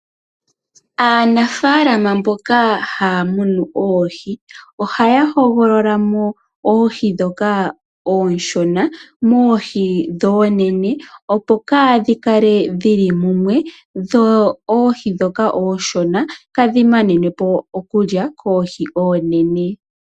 Aanafalama mboka haa munu oohi ohaya hogololamo oohi ndhoka ooshona moohi ndhoka oonene opo kaa dhikale dhili munwe dho oohi dhoka ooshona kaa dhi manenwepo iikulya koohi ndhoka oonene.